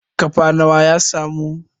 kafa nawa ya samu?